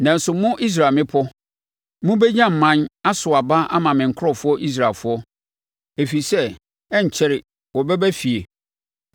“ ‘Nanso mo, Israel mmepɔ, mobɛnya mman, aso aba ama me nkurɔfoɔ Israelfoɔ, ɛfiri sɛ ɛrenkyɛre wɔbɛba efie.